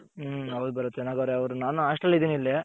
ಹ್ಮ್ ಹೌದು ಭರತ್ ಚೆನ್ನಗವ್ರೆ ನಾನು Hostel ಅಲ್ಲಿಇದ್ದೀನಿ ಇಲ್ಲಿ.